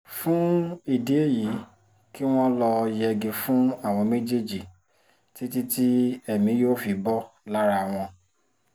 fún ìdí èyí kí wọ́n lọ́ọ́ yẹgi fún àwọn méjèèjì títí tí èmi yóò fi bò lára wọn